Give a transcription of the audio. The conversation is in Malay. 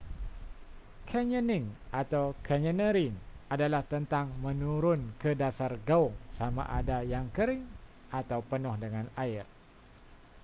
canyoning” atau: canyoneering adalah tentang menurun ke dasar gaung sama ada yang kering atau penuh dengan air